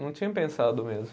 Não tinha pensado mesmo.